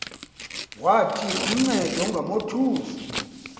wathi uncede ungamothusi